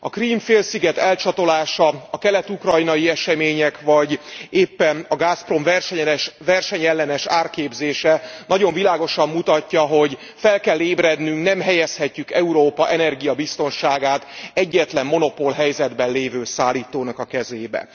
A Krím félsziget elcsatolása, a kelet ukrajnai események, vagy éppen a Gasprom versenyellenes árképzése nagyon világosan mutatja, hogy fel kell ébrednünk, nem helyezhetjük Európa energiabiztonságát egyetlen monopolhelyzetben lévő szállítónak a kezébe.